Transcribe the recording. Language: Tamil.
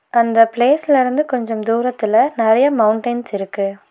அந்த பிளேஸ்ல இருந்து கொஞ்சம் தூரத்துல நறைய மவுண்டைன்ஸ் இருக்கு.